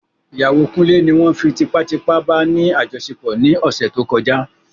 Ìyàwó kunle ní won fí tipá tipá bá ní àjọṣepọ̀ ní ọ̀sẹ̀ tó kọjá